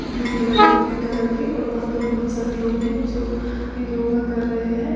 Blue colour की pink colour की और यहां पर बहुत सारे लोग हैं जो योगा कर रहे हैं।